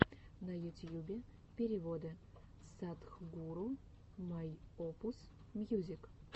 на ютьюбе переводы садхгуру майопус мьюзик